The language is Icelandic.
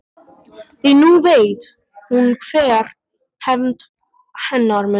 Því nú veit hún hver hefnd hennar mun verða.